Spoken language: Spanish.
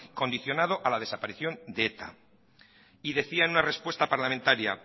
condicionado a la desaparición de eta y decía en una respuesta parlamentaria